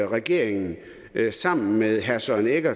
regeringen sammen med herre søren egge